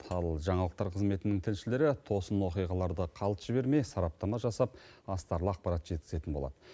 ал жаңалықтар қызметінің тілшілері тосын оқиғаларды қалт жібермей сараптама жасап астарлы ақпарат жеткізетін болады